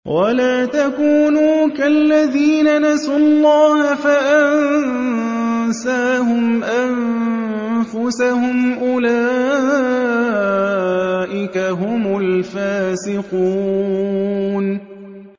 وَلَا تَكُونُوا كَالَّذِينَ نَسُوا اللَّهَ فَأَنسَاهُمْ أَنفُسَهُمْ ۚ أُولَٰئِكَ هُمُ الْفَاسِقُونَ